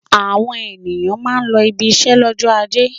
Àwọn ènìyàn máa ń lọ ibiṣẹ́ lọ́jọ́ ajé.